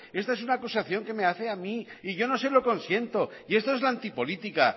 esta es una acusación que me hace a mí y yo no se lo consiento y esta es la antipolítica